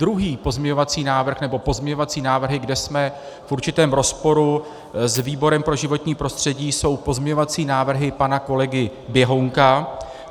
Druhý pozměňovací návrh, nebo pozměňovací návrhy, kde jsme v určitém rozporu s výborem pro životní prostředí, jsou pozměňovací návrhy pana kolegy Běhounka.